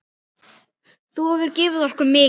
Þú hefur gefið okkur mikið.